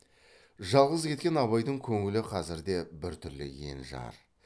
жалғыз кеткен абайдың көңілі қазірде біртүрлі ен жар